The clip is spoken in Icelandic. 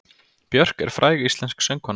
Björk er fræg íslensk söngkona.